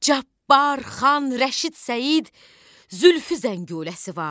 Cabbar, Xan, Rəşid, Səid, Zülfü Zəngüləsi var.